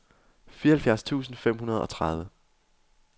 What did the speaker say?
fireoghalvfjerds tusind fem hundrede og tredive